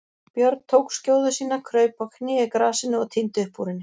Björn tók skjóðu sína, kraup á kné í grasinu og tíndi upp úr henni.